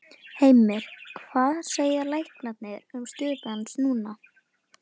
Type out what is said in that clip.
Heimir: Hvað segja læknar um stöðu hans núna?